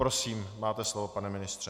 Prosím, máte slovo, pane ministře.